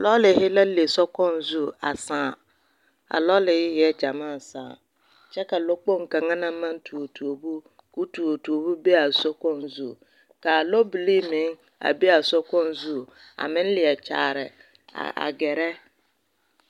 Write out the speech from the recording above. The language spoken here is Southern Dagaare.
Lɔɔrehe la le sokoɔraa zu a sããa lɔɔrehe e la gyamaa a sãã kyɛ ka lɔkpoŋ kaŋa naŋ maŋ tuo tuobo k'o tuo tuobo be a sokpoŋ zu ka lɔbilii meŋ a be a sokpoŋ zu a meŋ leɛ kyaare a gɛrɛ